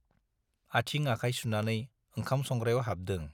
आथिं- आखाय सुनानै ओंखाम संग्रायाव हाबदों ।